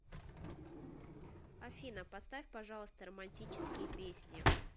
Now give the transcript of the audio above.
афина поставь пожалуйста романтические песни